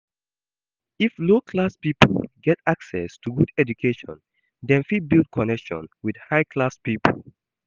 If low class pipo get access to good education dem fit build connection with high class pipo